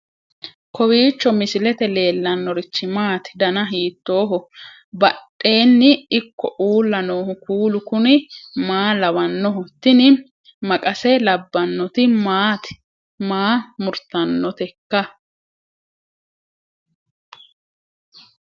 kowiicho misilete leellanorichi maati ? dana hiittooho ?abadhhenni ikko uulla noohu kuulu kuni maa lawannoho? tini maqase labbannoti maati maa murtannoteikka